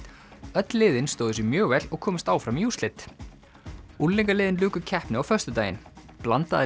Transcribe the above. öll liðin stóðu sig mjög vel og komust áfram í úrslit luku keppni á föstudaginn blandaða